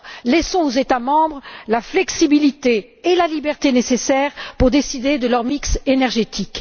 Laissons donc aux États membres la flexibilité et la liberté nécessaires pour décider de leur bouquet énergétique.